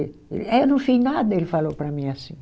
É eu não fiz nada, ele falou para mim assim.